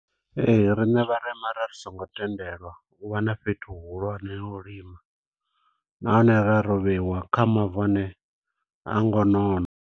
Ee, riṋe vharema ra ri songo tendelwa, u vha na fhethu hu hulwane ha u lima. Nahone ra ro vheiwa kha mavu ane ha ngo nona.